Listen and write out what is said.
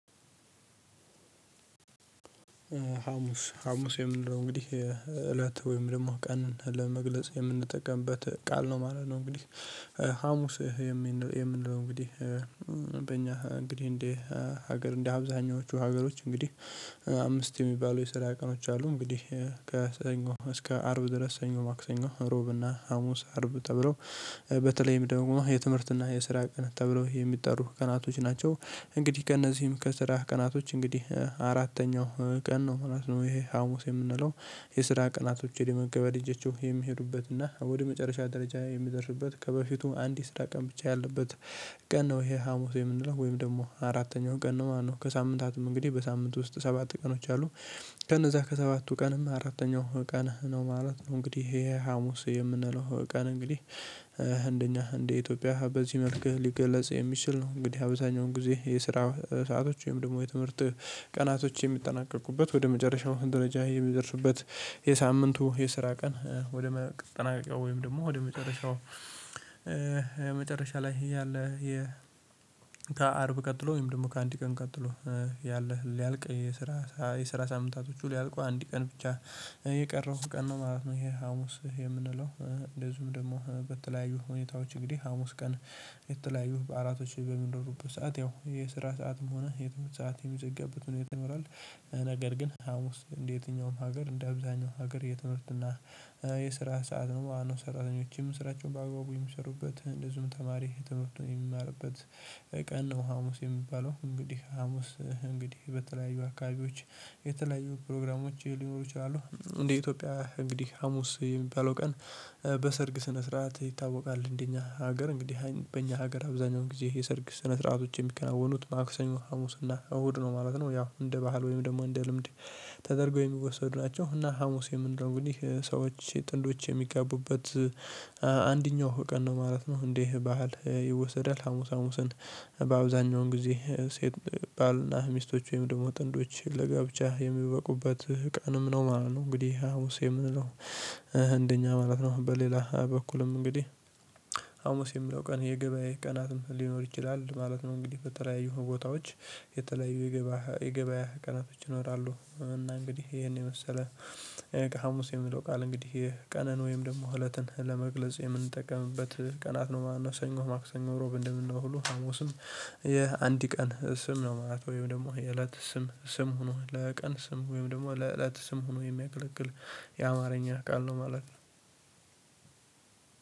ሀሙስ ሀሙስ የምንለው እንግዲህ እለት ወይም ደግሞ ቀንን ለመግለጽ የምንጠቀምበት ቃል ነው ማለት ነው። እንግዲህ ሀሙስ የምንለው እንግዲህ እንግዲህ እንደ ሀገር እንደ አብዛኞቹ ሀገሮች እንግዲህ አምስት የሚባሉ የስራ ቀኖች አሉ እንግዲህ ከሰኞ እስከ አርብ ድረስ ሰኞ ማክሰኞ ሮብ እና ሀሙስ አርብ ተብለው በተለይም ደግሞ የትምህርትና የስራ ቀን ተብሎ የሚጠሩ ቀናቶች ናቸው። እንግዲህ ከእነዚህም ከስራ ቀናቶች እንግዲህ አራተኛው ቀን ነው ምናምን ይሄ ሀሙስ የምንለው የስራ ቀናቶችን የመገበድ እጆቹ የሚሄዱበት እና ወደ መጨረሻ ደረጃ የሚደርስበት ከበፊቱ አንድ የስራ ቀን ብቻ ያለበት ቀን ነው። ይሄ ሀሙስ የምንለው ወይም ደግሞ አራተኛው ቀን ነው። ማነው ከሳምንታቱም እንግዲህ በሳምንቱ ውስጥ ሰባት ቀኖች አሉ ከነዛ ከሰባቱ ቀንም አራተኛው ቀን ነው ማለት ነው። እንግዲህ ይሄ ሀሙስ የምንለው ቀን እንግዲህ እንደኛ እንደ ኢትዮጵያ በዚህ መልክህ ሊገለጽ የሚችል ነው። እንግዲህ አብዛኛውን ጊዜ የስራ ሰአቶች ወይም ደግሞ የትምህርት ቀናቶች የሚጠናቀቁበት ወደ መጨረሻው ደረጃ የሚደርስበት። የሳምንቱ የስራ ቀን ወደ መጠናቀቂያው ወይም ደግሞ ወደ መጨረሻው መጨረሻ ላይ ያለ የአርብ ቀጥሎ ወይም ደግሞ ከአንድ ቀን ቀጥሎ ያለ ሊያልቅ የስራ የስራ ሳምንታቶቹ ሊያልቁ አንድ ቀን ብቻ የቀረው ቀን ነው ማለት ነው። ይሄ ሀሙስ የምንለው እንደዚሁም ደግሞ በተለያዩ ሁኔታዎች እንግዲህ ሀሙስ ቀን የተለያዩ በአራቶች በሚኖሩበት ሰዓት ያው የስራ ሰዓትም ሆነ የትም ሰዓት የሚዘገብት ምን ይመራል? ነገር ግን ሀሙስ እንደ የትኛውም ሀገር እንደ አብዛኛው ሀገር የትምህርትና የስራ ሰዓት ነው። ሰራተኞችም ስራቸውን በአግባቡ የሚሰሩበት እንደዚሁም ተማሪ ትምህርት የሚማርበት ቀን ነው ሀሙስ የሚባለው። እንግዲህ ሀሙስ እንግዲህ በተለያዩ አካባቢዎች የተለያዩ ፕሮግራሞች ሊኖሩ ይችላሉ። እንደ ኢትዮጵያ እንግዲህ ሀሙስ የሚባለው ቀን በሰርግ ስነ ስርዓት ይታወቃል እንደኛ ሀገር እንግዲህ በኛ ሀገር አብዛኛውን ጊዜ የሰርግ ስነ ስርዓቶች የሚከናወኑት ማክሰኞ ሀሙስ እና እሁድ ነው ማለት ነው። ያው እንደ ባህል ወይም ደግሞ እንደ ልምድ ተደርጎ የሚወሰድ ናቸው። እና ሀሙስ የምንለው እንግዲህ ሰዎች ጥንዶች የሚጋቡበት አንደኛው ቀን ነው ማለት ነው። እንዴ ባህል ይወሰዳል ሀሙስ ሀሙስን በአብዛኛውን ጊዜ ሴት ባልና ሚስቶች ወይም ደግሞ ጥንዶች ለጋብቻ የሚበቁበት ቀንም ነው ማለት ነው። እንግዲህ ሀሙስ የምንለው እንደኛ ማለት ነው በሌላ በኩልም እንግዲህ ሀሙስ የሚለው ቀን የገበያ ቀናትም ሊኖር ይችላል ማለት ነው። እንግዲህ በተለያዩ ቦታዎች የተለያዩ የገበያ ቀናቶች ይኖራሉ። እና እንግዲህ ይሄን የመሰለ ሀሙስ የምለው ቃል እንግዲህ ቀንን ወይም ደግሞ እለትን ለመግለጽ የምንጠቀምበት ቀናት ነው። ማነው ሰኞ ማክሰኞ ሮብ እንደምንለው ሁሉ ሀሙስም የአንድ ቀን ስም ነው። ማለት ወይም ደግሞ የእለት ስም ስም ሆኖ ለቀን ስም ወይም ደግሞ ለእለት ስም ሆኖ የሚያገለግል የአማርኛ ቃል ነው። ማለት ነው።